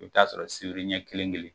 I bɛ t'a sɔrɔ sibiriɲɛ kelen kelen